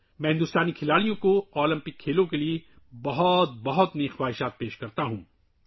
میں ہندوستانی ٹیم کو اولمپک کھیلوں کے لیے نیک تمناؤں کا اظہار کرتا ہوں